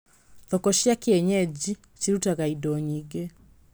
Thoko cia kienyeji cirutaga indo nyingĩ.